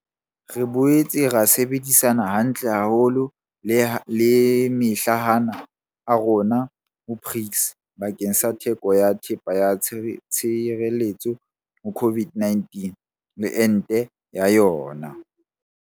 Re boetse ra sebedisana hantle haholo le mahlahana a rona ho BRICS bakeng sa theko ya thepa ya tshireletso ho COVID-19 le ente ya yona.